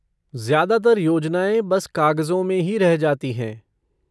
ज्यादातर योजनाएँ बस कागज़ों में ही रह जाती हैं।